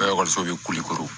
An ka ekɔliso bɛ kule koro